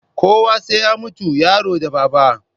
Kowa sai ya mutu, yaro da babba